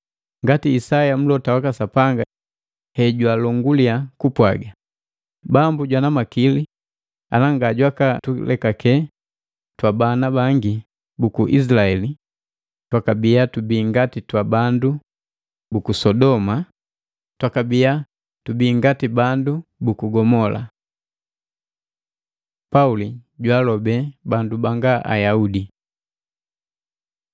Ngati Isaya Mlota waka Sapanga hejwalonguli kupwaga, “Bambu jwana makili ana ngajwaka tulekake twabana bangi buku Isilaeli, twakabia tubii ngati twa bandu buku Sodoma, twakabia tubii ngati bandu buku Gomola.” Pauli jwaalobe bandu banga Ayaudi